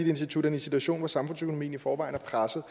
i en situation hvor samfundsøkonomien i forvejen er presset